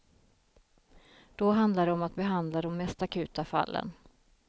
Då handlar det om att behandla de mest akuta fallen.